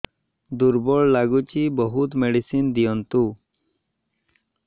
ଦୁର୍ବଳ ଲାଗୁଚି ବହୁତ ମେଡିସିନ ଦିଅନ୍ତୁ